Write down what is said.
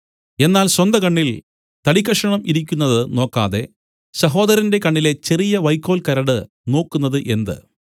എന്നാൽ സ്വന്തകണ്ണിൽ തടിക്കഷണം ഇരിക്കുന്നത് നോക്കാതെ സഹോദരന്റെ കണ്ണിലെ ചെറിയ വൈക്കോൽ കരട് നോക്കുന്നത് എന്ത്